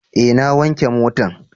Eh na wanke motan